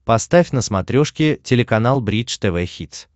поставь на смотрешке телеканал бридж тв хитс